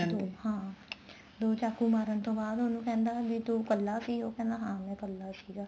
ਦੋ ਹਾਂ ਦੋ ਚਾਕੂ ਮਾਰਨ ਤੋਂ ਬਾਅਦ ਉਹਨੂੰ ਕਹਿੰਦਾ ਵੀ ਤੂੰ ਇੱਕਲਾ ਸੀ ਉਹ ਕਹਿੰਦਾ ਹਾਂ ਮੈਂ ਇੱਕਲਾ ਸੀਗਾ